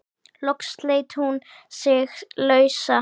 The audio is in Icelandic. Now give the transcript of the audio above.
Loks sleit hún sig lausa.